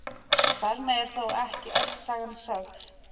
Þar með er þó ekki öll sagan sögð.